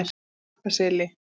Bakkaseli